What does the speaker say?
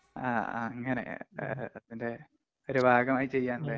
ആ ആ അങ്ങനെ. അതിന്‍റെ ഒരു ഭാഗമായി ചെയ്യാന്‍ അല്ലേ.